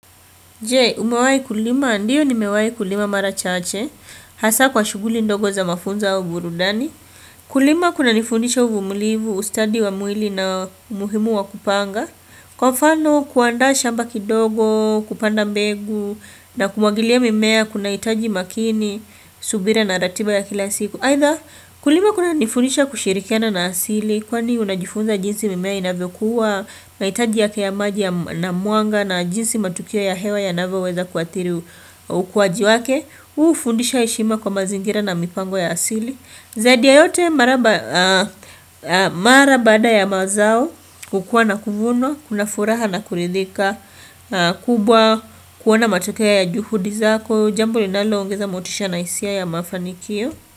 Jee, umawai kulima ndiyo ni mewai kulima mara chache, hasa kwa shuguli ndogo za mafunza au burudani. Kulima kuna nifundisha uvumulivu, ustadi wa mwili na umuhimu wa kupanga. Kwa mfano kuanda shamba kidogo, kupanda mbegu, na kumagilia mimea kuna itaji makini, subira na ratiba ya kila siku. Aitha kulima kuna nifunisha kushirikiana na asili Kwani unajifunza jinsi mimea inavekuwa maitaji yake ya maji ya namuanga na jinsi matukia ya hewa ya naveweza kuatiri ukwaji wake ufundisha ishima kwa mazingira na mipango ya asili Zadia yote marabada ya mazao kukua na kufunwa, kuna furaha na kulidhika kubwa, kuwana matukia ya juhudi zako Jambu linalo ungeza motisha na hisia ya mafanikio.